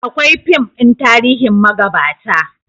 Akwai fim ɗin tarihin magabata